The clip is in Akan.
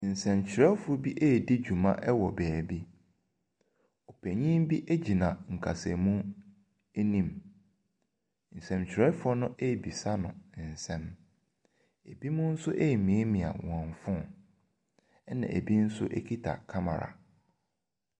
Nsɛntwerɛfoɔ bi redi dwuma wɔ baabi. Ɔpanin bi gyina kasamu anim. Nsɛntwerɛfoɔ no rebisa no nsɛm. Ebinom nso remiamia wɔn phone, ɛnna ebi nso kita camera.